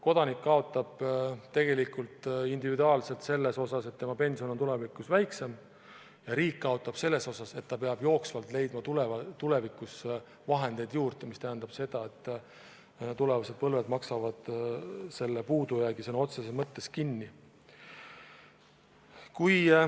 Kodanik kaotab tegelikult individuaalselt selles, et tema pension on tulevikus väiksem, ja riik kaotab selles, et ta peab jooksvalt leidma tulevikus vahendeid juurde, mis tähendab seda, et tulevased põlved maksavad selle puudujäägi sõna otseses mõttes kinni.